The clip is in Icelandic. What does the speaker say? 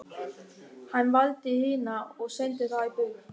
Hann valdi hina og sendi þær burt.